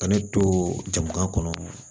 Ka ne to jamana kɔnɔ